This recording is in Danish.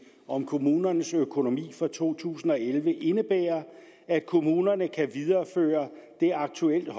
om kommunernes økonomi for to tusind og elleve indebærer at kommunerne kan videreføre den aktuelt